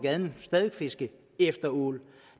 fiske efter ål